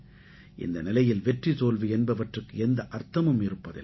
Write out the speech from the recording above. இந்த நிலையில் வெற்றி தோல்வி என்பவற்றுக்கு எந்த அர்த்தமும் இருப்பதில்லை